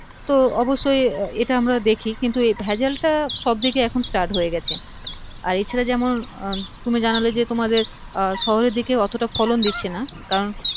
তো অবশই এইটা আমরা দেখি কিন্তু এই ভেজালটা সবদিকে এখন start হয়ে গেছে আর এ ছাড়া যেমন তুমি জানালে যে তোমাদের শহরের দিকেও অতটা ফলন দিচ্ছে না কারণ